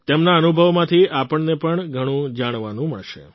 તેમના અનુભવોમાંથી આપણને પણ ઘણું જાણવાનું મળશે